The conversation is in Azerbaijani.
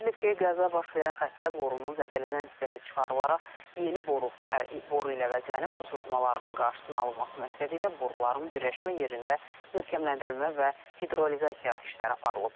Bildirilib ki, qəza baş verən xətdə borunun zədələnən hissəsi çıxarılaraq yeni boru ilə əvəzlənib, su sızmalarının qarşısının alınması məqsədilə boruların birləşmə yerində möhkəmləndirilmə və hidrolizasiya işləri aparılıb.